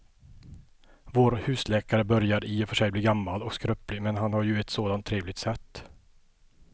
Vår husläkare börjar i och för sig bli gammal och skröplig, men han har ju ett sådant trevligt sätt!